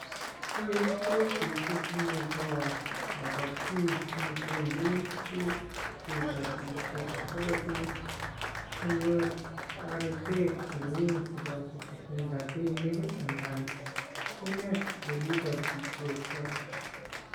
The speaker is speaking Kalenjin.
Koroi ko ofisit nebo kabatik nebendi nyekebatishie sikopit sikonyor toretet neu, kobesen rapinik anan kiinet olekibatisiotoi.